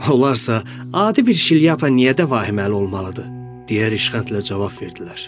Onlarsa: "Adi bir şilyapa niyə də vahiməli olmalıdır?" - deyə ilişqəntlə cavab verdilər.